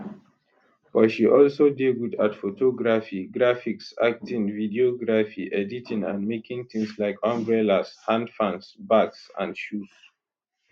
but she also dey good at photography graphics acting videography editing and making tins like umbrellas hand fans bags and shoes